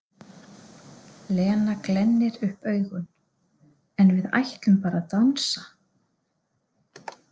Lena glennir upp augun: En við ætlum bara að dansa.